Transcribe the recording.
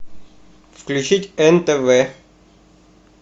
включить нтв